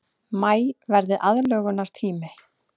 Maí verði aðlögunartími